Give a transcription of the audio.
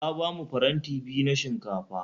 Ta bamu faranti biyu na shinkafa